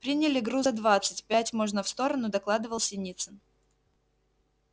приняли груза двадцать пять можно в сторону докладывал синицын